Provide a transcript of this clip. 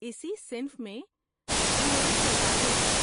اسی صنف میں 'ڈوول سروائول' ہے۔